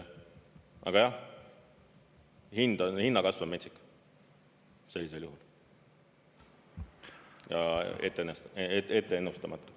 Aga jah, hinnakasv on metsik sellisel juhul ja etteennustamatu.